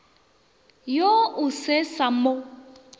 yo o se sa mo